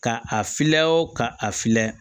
Ka a fiyɛ wo ka a filɛ